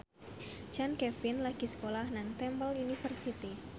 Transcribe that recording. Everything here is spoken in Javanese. Chand Kelvin lagi sekolah nang Temple University